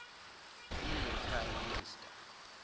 indian prime minister